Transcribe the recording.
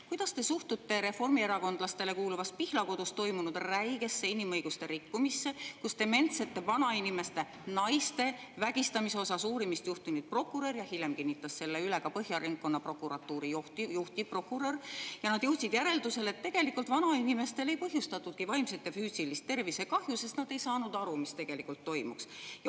Kuidas te suhtute reformierakondlastele kuuluvas Pihlakodus toimunud räigesse inimõiguste rikkumisse, kus dementsete vanainimeste, naiste vägistamise uurimist juhtinud prokurör jõudis järeldusele ja hiljem kinnitas selle üle Põhja ringkonnaprokuratuuri juhtivprokurör, et tegelikult vanainimestele ei põhjustatudki vaimset ja füüsilist tervisekahju, sest nad ei saanud aru, mis tegelikult toimus?